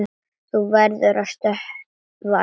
Þú verður að stöðva lekann.